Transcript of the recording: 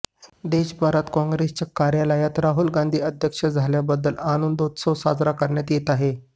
देशभरात काँग्रेसच्या कार्यालयातही राहुल गांधी अध्यक्ष झाल्याबद्दल आनंदोत्सव साजरा करण्यात येत आहे